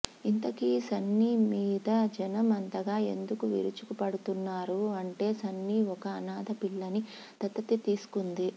ఇంతకీ సన్నీ మీద జనం అంతగా ఎందుకు విరుచుకు పడుతున్నారూ అంటే సన్నీ ఒక అనాద పిల్లని దత్తత తీసుకుంది